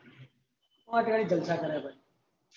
મોજ્વાળી જલસા કર્યા હતા